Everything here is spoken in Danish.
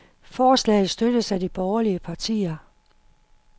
Forslaget støttes af de borgerlige partier.